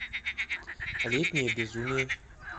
летнее безумие